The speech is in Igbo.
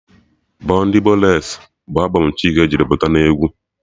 Boo ndị booles bụ albọm Chike jiri pụta n'egwu